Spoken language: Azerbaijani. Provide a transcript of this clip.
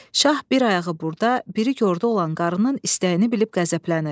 Şah bir ayağı burda, biri yolda olan qarının istəyini bilib qəzəblənir.